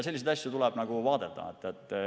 Selliseid asju tuleb vaadata.